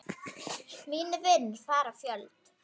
Mínir vinir fara fjöld.